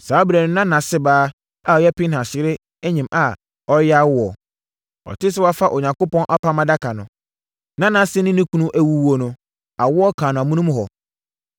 Saa ɛberɛ no na nʼase baa a ɔyɛ Pinehas yere nyem a ɔreyɛ awoɔ. Ɔtee sɛ wɔafa Onyankopɔn Apam Adaka no, na nʼase ne ne kunu awuwuo no, awoɔ kaa no amonom hɔ.